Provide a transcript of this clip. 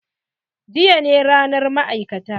Jiya ne ranar ma'aikata.